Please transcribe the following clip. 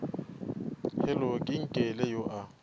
hello ke nkele yo a